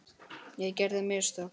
Ég gerði mistök.